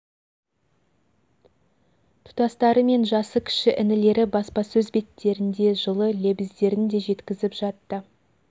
тұстастары мен жасы кіші інілері баспасөз беттерінде жылы лебіздерін де жеткізіп жатты